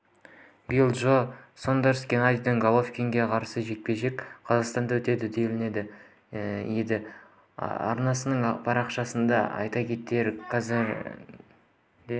билли джо сондерс геннадий головкинге қарсы жекпе-жек қазақстанда өтеді делінген еді арнасының парақшасында айта кетейік қазірде